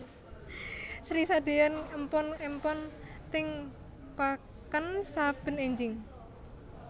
Sri sadeyan empon empon teng peken saben enjing